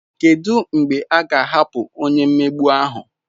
Kedu mgbe a ga-ahapụ onye mmegbu ahụ?